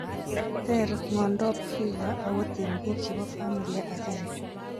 Ter ng'ondop FEVR akot eng' biik chebo familia agenge